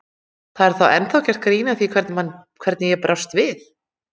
Það er ennþá gert grín að því hvernig ég brást við.